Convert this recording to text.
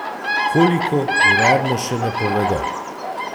Koliko, uradno še ne povedo.